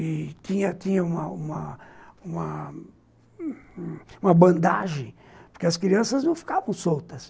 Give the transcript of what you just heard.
E tinha tinha uma uma uma bandagem, porque as crianças não ficavam soltas.